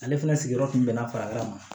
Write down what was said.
Ale fana sigiyɔrɔ kun bɛnna fara ma